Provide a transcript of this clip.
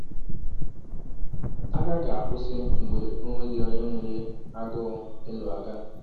Agha ga-akwụsị mgbe ọ nweghị onye nwere agụụ ịlụ agha.